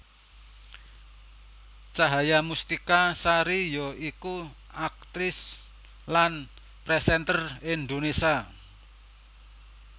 Cahaya Mustika Sari ya iku aktris lan presenter Indonésia